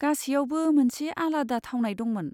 गासैयावबो मोनसे आलादा थावनाय दंमोन।